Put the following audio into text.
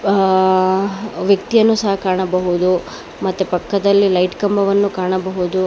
ಆ ವ್ಯಕ್ತಿಯನ್ನು ಸಹ ಕಾಣಬಹುದು ಮತ್ತು ಪಕ್ಕದಲ್ಲಿ ಲೈಟ್ ಕಂಬವನ್ನು ಕಾಣಬಹುದು.